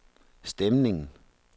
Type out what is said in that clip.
stemningen